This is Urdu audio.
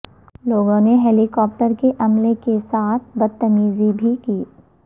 لوگوں نے ہیلی کاپٹر کے عملے کے ساتھ بدتمیزی بھی کی